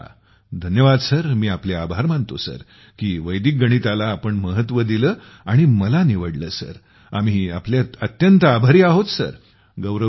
गौरव धन्यवाद सर मी आपले आभार मानतो सर की वैदिक गणिताला आपण महत्व दिले आणि मला निवडले सर आम्ही आपले अत्यंत आभारी आहोत सर